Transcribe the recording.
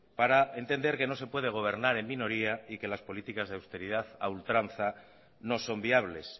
para entender que no se puede gobernar en minoría y que las políticas de austeridad a ultranza no son viables